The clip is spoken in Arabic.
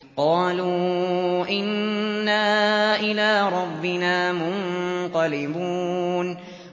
قَالُوا إِنَّا إِلَىٰ رَبِّنَا مُنقَلِبُونَ